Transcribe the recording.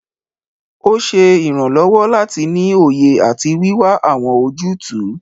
Ó ṣe ìrànlọ́wọ́ láti ní òye àti wíwá àwọn ojútùú.